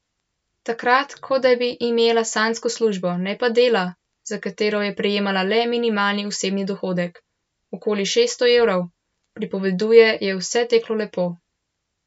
Takrat, kot da bi imela sanjsko službo, ne pa dela, za katero je prejemala le minimalni osebni dohodek, okoli šeststo evrov, pripoveduje, je vse teklo lepo.